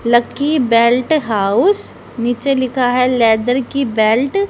lucky belt house नीचे लिखा है लेदर की बेल्ट --